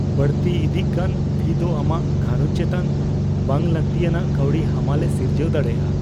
ᱵᱟᱹᱲᱛᱤ ᱤᱫᱤᱜ ᱠᱟᱱ ᱯᱷᱤ ᱫᱚ ᱟᱢᱟᱜ ᱜᱷᱟᱨᱚᱸᱡᱽ ᱪᱮᱛᱟᱱ ᱵᱟᱝᱼᱞᱟᱹᱛᱤᱭᱟᱱᱟᱜ ᱠᱟᱹᱣᱰᱤ ᱦᱟᱢᱟᱞ ᱮ ᱥᱤᱨᱡᱟᱹᱣ ᱫᱟᱲᱮᱭᱟᱜᱼᱟ ᱾